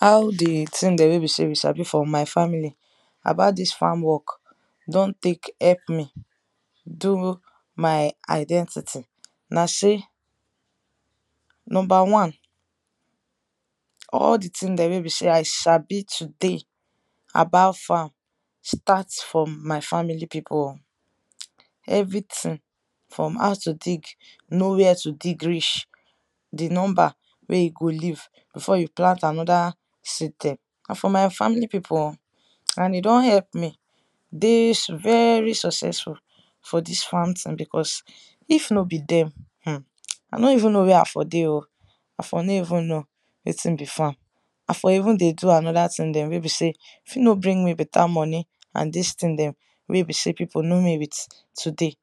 how di thing dem wey be sey we sabi for my family about dis farm work don tek help me do my identity. na sey number wan all di thing dem wey be sey i sabi today about farm start from my family pipu oh everything from how to dig, know where to dig reach, di number wey e go leave before you plant anoda nah for my family pipu oh and e don help me de very successful for dis farm thing because if no be dem, um I no even know where i for dey o, i for no even know wetin be farm, i for even dey do anoda thing dem wey be sey fit no brng me beta money and dis thing dem wey be sey pipu know me with today.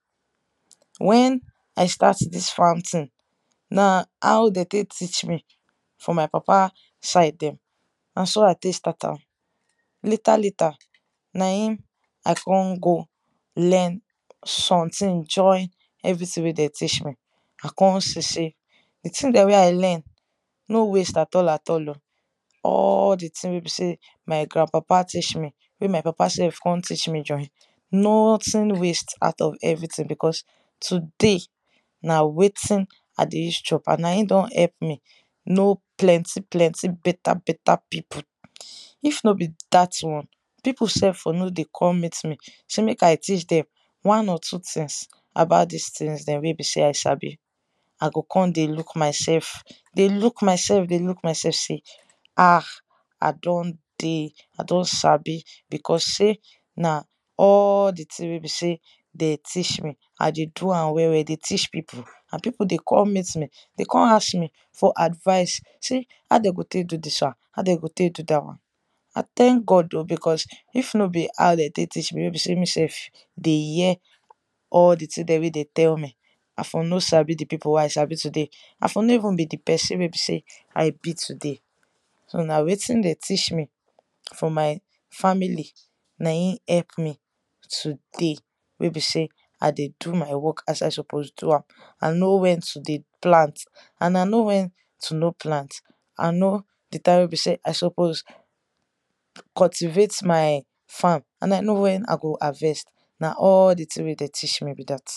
wen i start dis farm thing, na how de tek teach me for my papa side dem na so i tek start am. later later, na in i kon go learn something join everything wey de teach me i kon see sey di thing dem wen i learn n waste at all at all o. all di thing wey my grand-papa teach me way my papa self kon teach me join, nothing waste out of everything because today na wetin i dey use chop and na e don help me no plenty plenty beta beta pipu. if no be dat one pipu self for no dey come meet me sey mek i teach dem one or two things about this things dem wey i sabi. i go kon dey look myself, dey look myelf dey look myself say um i don dey i don sabi because sey nah all di thing wey be sey den teach me i dey do am well well dey teach pipu and pipu dey come meet me dey con ask me for advice sey how de go tek do this won, how de go tek do dat won i thank God o because if no be how de tek teach mewey be sey me self dey hear all di thing den wen de tell me i for no sabi di pipu wey i sabi today, i for no even be di person wey be sey i be today so na wetin den teach me for my family na in help me today wey be sey i dey do my work ias i suppos do am. and know wen to dey plant and i know wen to no plant, i know di time wey be sey i suppose cultivate my farm and i know wen i go harvest na all di thing wey dem teach me be dat.